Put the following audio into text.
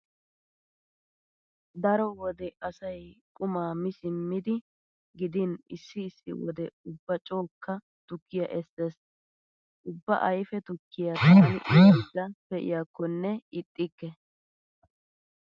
Daro wode asay quma mi simmidi gidin issi issi wode ubba cookka tukkiya essees. Ubba ayfe tukkiya taani uyaydda pee'iyakkonne ixxikke.